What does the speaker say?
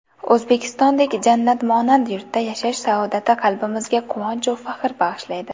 O‘zbekistondek jannatmonand yurtda yashash saodati qalbimizga quvonchu faxr bag‘ishlaydi.